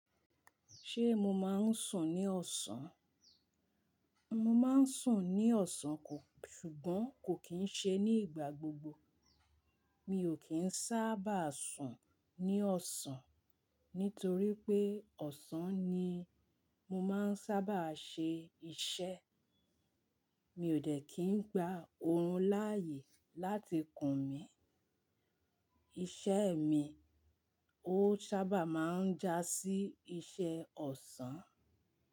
Ṣé mo máa ń sùn ní ọ̀sán? Mo máa ń sùn ní ọ̀sán kò, ṣùgbọ́n kò kín ṣe ní ìgbà gbogbo. Mi ò kín sábà sùn ní ọ̀sán nítorí pé ọ̀sán ni mo máa ń sábà ṣe iṣẹ́. Mi ò dẹ́ kí n gba oorun láàyè láti kùn mí. Iṣẹ́ mi, ó sábà máa ń jásí iṣẹ́ ọ̀sán.